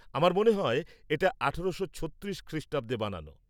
আমার মনে হয় এটা আঠেরোশো ছত্রিশ খ্রিষ্টাব্দে বানানো।